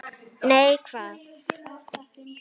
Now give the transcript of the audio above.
Nei, hvað?